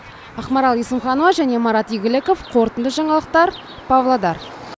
ақмарал есімханова және марат игіліков қорытынды жаңалықтар павлодар